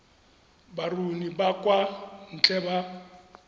baruni ba kwa ntle ba